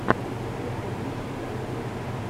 зетыдыщ тэвэ